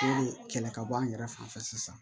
kɛlɛ ka bɔ an yɛrɛ fan fɛ sisan